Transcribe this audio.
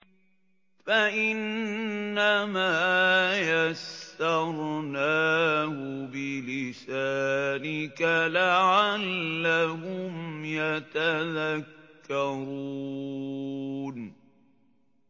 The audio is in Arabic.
فَإِنَّمَا يَسَّرْنَاهُ بِلِسَانِكَ لَعَلَّهُمْ يَتَذَكَّرُونَ